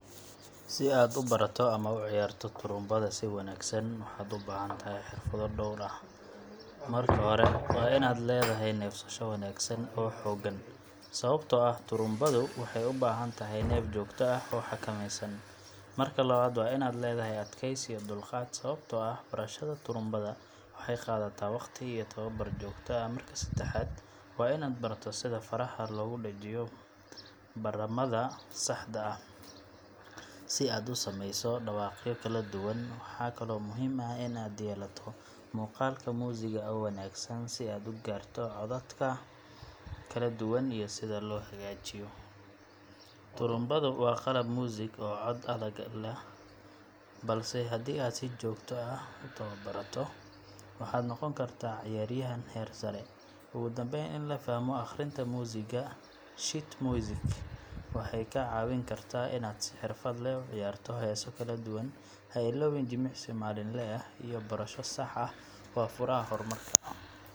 Si aad ubarato ama ad uciyarto turumbada si wanagsan waxad ubaxantaxay xirfado dowr ah, marka xore wa inad ledaxay nefsasho wanagsan oo xoogan, sawabto ah turumbadu waxay ubaxantaxay neef jogto ah oo xakameysan, marka lawad wa inad ledaxay adkeysi iyo dulqaat, sawabto ah barashadu turumbada waxay qadhata wagti iyo tawabar jogto ah, marka sadaxad wa inad barato sidha faraha logudajiyo baramada saxda ah, si aad usameyso dawaqyo kaladuwan waxa kalo muxiim ah inad yelato muqalka music oo wanagsan si ugarato codadka kaladuwan iyo sidha loxagajiyo, turumbadu wa qalab music oo daqamed ah, balse xadhii aad si jogto ah ubarato waxa nogonkarta ciyar yaxan xeer saree, ogudambeyn in lafaxmo aqrinta music, shid music, waxay kacawinkarta inad si xirfad leh uciyarto xesaa kaladuwan, xailowin si malinle eh, ubarasho sax ah, wa furaha xormarka.